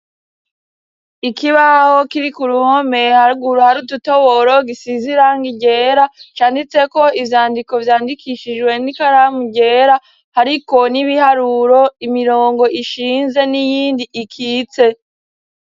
Ikibaho kiri k'uruhome, haguru hari udutoboro, gisize irangi ryera, canditseko ivyandiko vyandikishijwe n'ikaramu ryera, hariko n'ibiharuro, imirongo ishinze n'iyindi ikitse.